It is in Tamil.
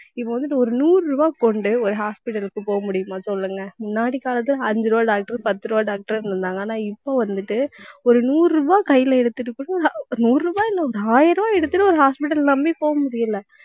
இப்ப வந்துட்டு ஒரு நூறு ரூபாய் கொண்டு ஒரு hospital க்கு போக முடியுமா சொல்லுங்க. முன்னாடி காலத்துல அஞ்சு ரூபாய் doctor பத்து ரூபாய் doctor ன்னு இருந்தாங்க. ஆனா இப்ப வந்துட்டு ஒரு நூறு ரூபாய் கையில எடுத்துட்டு கூட நூறு ரூபாய் இல்லை ஒரு ஆயிரம் ரூபாய் எடுத்துட்டு ஒரு hospital அ நம்பி போகமுடியலை